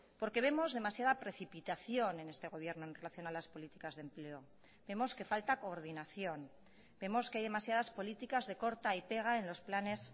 porque vemos demasiada precipitación en este gobierno en relación a las políticas de empleo vemos que falta coordinación vemos que hay demasiadas políticas de corta y pega en los planes